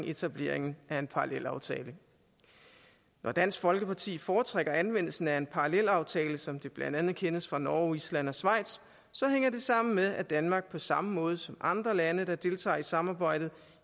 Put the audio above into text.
etableringen af en parallelaftale når dansk folkeparti foretrækker anvendelsen af en parallelaftale som det blandt andet kendes fra norge island og schweiz hænger det sammen med at danmark på samme måde som andre lande der deltager i samarbejdet